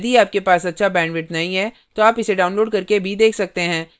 यदि आपके पास अच्छा bandwidth नहीं है तो आप इसे download करके देख सकते हैं